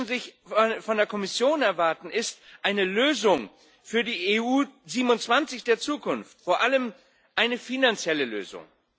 Was die Menschen von der Kommission erwarten, ist eine Lösung für die EU 27 der Zukunft, vor allem eine finanzielle Lösung.